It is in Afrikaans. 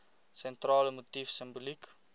sentrale motief simboliek